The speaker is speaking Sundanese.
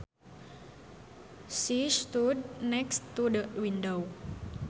She stood next to the window